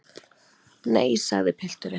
Nei, sagði pilturinn.